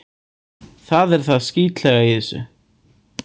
Það er það skítlega í þessu.